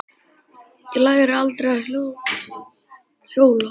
Ég lærði aldrei að hjóla.